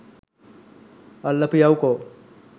අල්ලපියවුකො